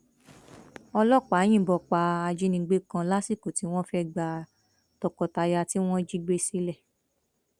ọlọpàá yìnbọn pa ajínigbé kan lásìkò tí wọn fẹẹ gba tọkọtaya tí wọn jí gbé sílẹ